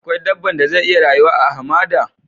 Akwai dabban da zai iya rayu a'hamada?